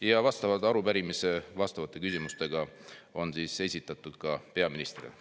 Ja vastavalt arupärimise vastavate küsimustega on esitatud ka peaministrile.